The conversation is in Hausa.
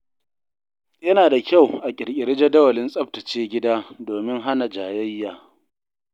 Yana da kyau a ƙirƙiri jadawalin tsaftace gida domin hana jayayya.